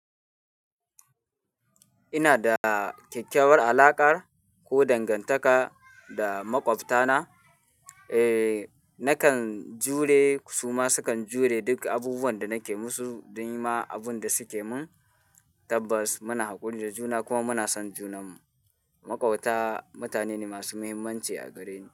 Ina da kyakkyawar alaƙar ko dangantaka da maƙwabtana, eh, nakan jure su ma sukan jure duk abubuwan da nake musu don yi ma abun da suke min. Tabbas muna haƙuri da juna kuma muna son junanmu. Maƙwabta mutane ne masu muhimmanci a gareni.